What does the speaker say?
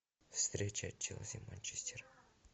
встреча челси манчестер